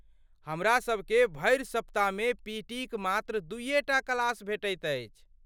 हमरा सभकेँ भरि सप्ताहमे पीटीक मात्र दूइये टा क्लासे भेटति अछि।